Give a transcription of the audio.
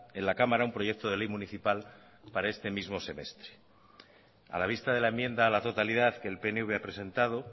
en la cámara un proyecto de ley municipal para este mismo semestre a la vista de la enmienda a la totalidad que el pnv ha presentado